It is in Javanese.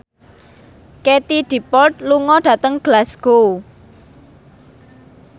Katie Dippold lunga dhateng Glasgow